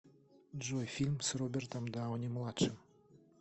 джой фильм с робертом дауни младшим